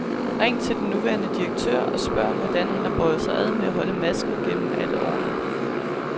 Ring til den nuværende direktør og spørg, hvordan han har båret sig ad med at holde masken gennem alle årene.